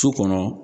Su kɔnɔ